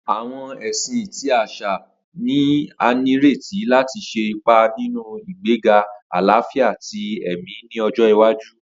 Awọn ẹsin ti aṣa ni a nireti lati ṣe ipa ninu igbega alafia ti ẹmi ni ọjọ iwaju.